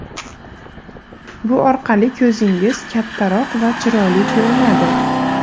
Bu orqali ko‘zingiz kattaroq va chiroyli ko‘rinadi.